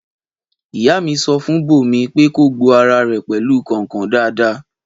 Ìyá mi sọ fun Bómi pẹ kọ gbo àrá rẹ pẹlu kọnkọn dàdà